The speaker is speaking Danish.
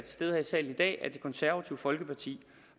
stede her i salen i dag sige at det konservative folkeparti